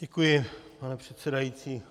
Děkuji, pane předsedající.